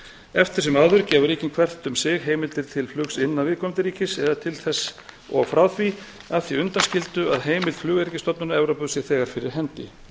eftir sem áður gefa ríkin hvert um sig heimildir til flugs innan viðkomandi ríkis eða til þess og frá því að því undanskildu að heimild flugöryggisstofnunar evrópu sé þegar fyrir hendi með